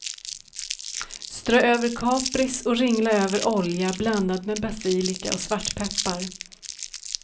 Strö över kapris och ringla över olja blandad med basilika och svartpeppar.